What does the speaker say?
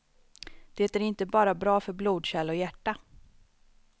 Det är inte bara bra för blodkärl och hjärta.